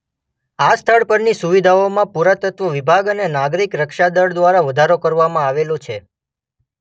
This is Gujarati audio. આ સ્થળ પરની સુવિધાઓમાં પુરાતત્વ વિભાગ અને નાગરિક રક્ષા દળ દ્વારા વધારો કરવામાં આવેલો છે.